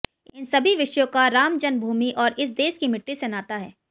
इन सभी विषयों का रामजन्मभूमि और इस देश की मिट्टी से नाता है